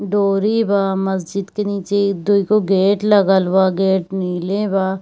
डोरी बा मस्जिद के नीचे दु गो गेट लगल बा गेट नीले बा।